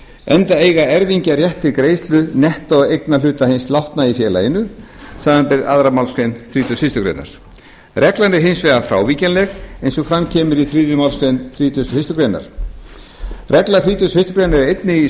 enda eiga erfingjar rétt til greiðslu nettóeignarhluta hins látna í félaginu samanber aðra málsgrein þrítugustu og fyrstu grein reglan er hins vegar frávíkjanleg eins og fram kemur í þriðju málsgrein þrítugustu og fyrstu grein regla þrítugasta og fyrstu grein er einnig í